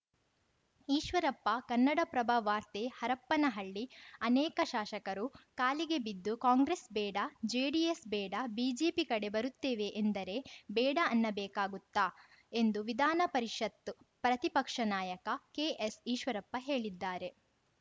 ಈಶ್ವರಪ್ಪ ಕನ್ನಡಪ್ರಭ ವಾರ್ತೆ ಹರಪ್ಪನಹಳ್ಳಿ ಅನೇಕ ಶಾಸಕರು ಕಾಲಿಗೆ ಬಿದ್ದು ಕಾಂಗ್ರೆಸ್‌ ಬೇಡ ಜೆಡಿಎಸ್‌ ಬೇಡ ಬಿಜೆಪಿ ಕಡೆ ಬರುತ್ತೇವೆ ಎಂದರೆ ಬೇಡ ಅನ್ನಬೇಕಾಗುತ್ತಾ ಎಂದು ವಿಧಾನಪರಿಷತ್‌ ಪ್ರತಿಪಕ್ಷ ನಾಯಕ ಕೆಎಸ್‌ ಈಶ್ವರಪ್ಪ ಹೇಳಿದ್ದಾರೆ